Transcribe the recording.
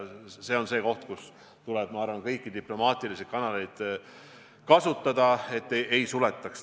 See on see koht, kus minu arvates tuleb kasutada kõiki diplomaatilisi kanaleid, et neid piire ei suletaks.